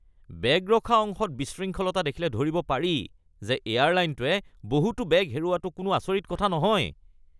বেগ ৰখা অংশত বিশৃংখলতা দেখিলে ধৰিব পাৰি যে এয়াৰলাইনটোৱে বহুতো বেগ হেৰুওৱাটো কোনো আচৰিত কথা নহয়।